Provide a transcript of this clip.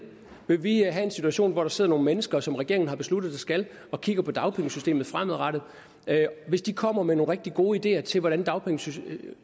vil vi have en situation hvor der sidder nogle mennesker som regeringen har besluttet der skal og kigger på dagpengesystemet fremadrettet hvis de kommer med nogle rigtig gode ideer til hvordan dagpengesystemet